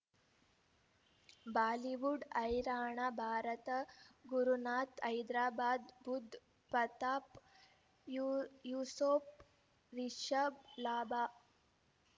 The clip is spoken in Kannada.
ಬಾಲಿವುಡ್ ಹೈರಾಣ ಭಾರತ ಗುರುನಾಥ ಹೈದರಾಬಾದ್ ಬುಧ್ ಪತಾಪ್ ಯೂಸುಫ್ ರಿಷಬ್ ಲಾಭ